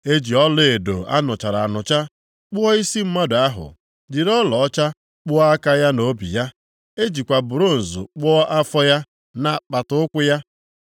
E ji ọlaedo a nụchara anụcha kpụọ isi mmadụ ahụ, jiri ọlaọcha kpụọ aka ya na obi ya. E jikwa bronz kpụọ afọ ya na apata ụkwụ ya.